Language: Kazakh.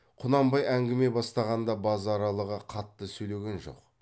құнанбай әңгіме бастағанда базаралыға қатты сөйлеген жоқ